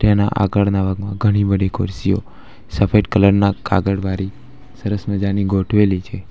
જેના આગળના ભાગમાં ઘણી બધી ખુરશીઓ સફેદ કલર ના કાગળ વારી સરસ મજાની ગોઠવેલી છે.